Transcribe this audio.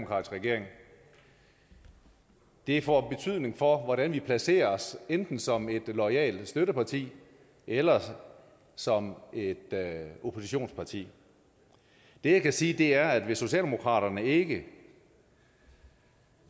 regering det får betydning for hvordan vi placerer os enten som et loyalt støtteparti eller som et oppositionsparti det jeg kan sige er at hvis socialdemokratiet ikke